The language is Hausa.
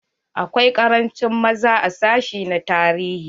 Akwai karanci maza a sashi na tarihi.